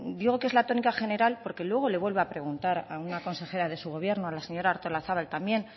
digo que es la tónica general porque luego le vuelvo a preguntar a una consejera de su gobierno a la señora artolazabal también